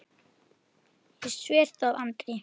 Ég sver það Andri.